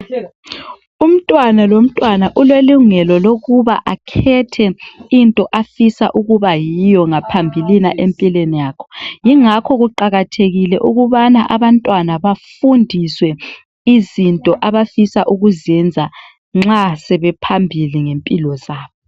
Umntwana lomntwana ulelungelo lokuba akhethe into afuna ukubayiyo empilweni yakhe. Yingakho kuqakathekile ukuba abantwana bafundiswe izinto abafuna ukuzenza nxa sebephambili ngempilo zabo.